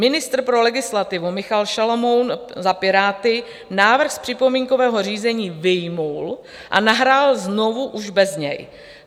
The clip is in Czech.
Ministr pro legislativu Michal Šalomoun za Piráty návrh z připomínkového řízení vyjmul a nahrál znovu již bez něj.